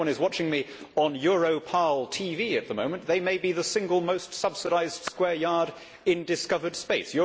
If anyone is watching me on EuroparlTV at the moment they may be the single most subsidised square yard in discovered space.